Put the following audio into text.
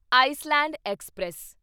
Iceland express